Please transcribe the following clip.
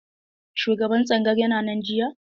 Shugaban tsangayar yana nan jiya?